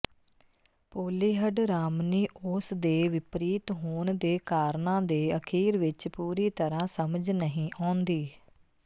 ਪੋਲੀਹਡਰਾਮਨੀਓਸ ਦੇ ਵਿਪਰੀਤ ਹੋਣ ਦੇ ਕਾਰਨਾਂ ਦੇ ਅਖੀਰ ਵਿੱਚ ਪੂਰੀ ਤਰ੍ਹਾਂ ਸਮਝ ਨਹੀਂ ਆਉਂਦੀ